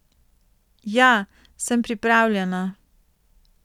Ja, sem pripravljena.